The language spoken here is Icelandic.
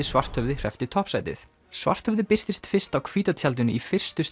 Svarthöfði hreppti toppsætið Svarthöfði birtist fyrst á hvíta tjaldinu í fyrstu